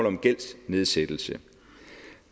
om gældsnedsættelse